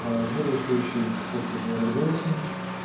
бодрствующий просто говорит голосом